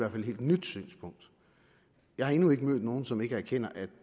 et helt nyt synspunkt jeg har endnu ikke mødt nogen som ikke erkender at